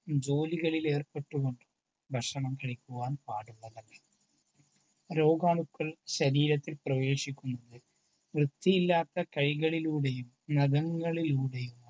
ജോലികളിൽ ഏർപ്പെട്ടു കൊണ്ട് ഭക്ഷണം കഴിക്കുവാൻ പാടുള്ളതല്ല. രോഗാണുക്കൾ ശരീരത്തിൽ പ്രവേശിക്കുന്നത് വൃത്തിയില്ലാത്ത കൈകളിലൂടെയും നഖങ്ങളിലൂടെയും ആണ്.